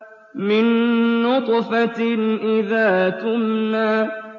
مِن نُّطْفَةٍ إِذَا تُمْنَىٰ